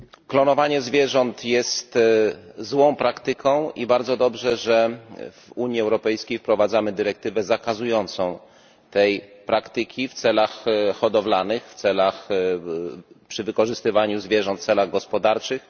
Klonowanie zwierząt jest złą praktyką i bardzo dobrze, że w Unii Europejskiej wprowadzamy dyrektywę zakazującą tej praktyki w celach hodowlanych przy wykorzystywaniu zwierząt w celach gospodarczych.